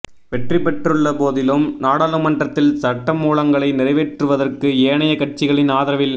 வெற்றி பெற்றுள்ளபோதிலும் நாடாளுமன்றத்தில் சட்டமூலங்களை நிறைவேற்றுவதற்கு ஏனைய கட்சிகளின் ஆதரவில்